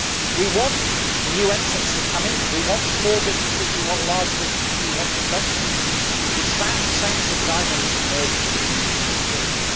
We want new entrants to come in, we want small businesses, we want large businesses, we want investment. It is that sense of dynamism and urgency that we need to move forward.